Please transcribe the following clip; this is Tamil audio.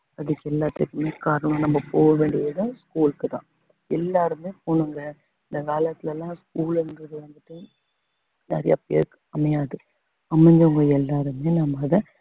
அதுக்கு எல்லாத்துக்குமே காரணம் நம்ம போக வேண்டியது school க்குதான் எல்லாருமே போங்க இந்த காலத்துல எல்லாம் school ன்றது வந்துட்டு நிறைய பேருக்கு அமையாது அமைஞ்சவங்க எல்லாருமே நம்ம அத